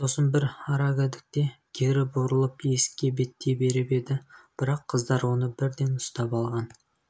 сосын бір арагідікте кері бұрылып есікке беттей беріп еді бірақ қыздар оны бірден ұстап алған